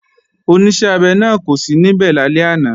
Oníṣẹ́-abẹ náà kò sí níbẹ̀ lálẹ́ àná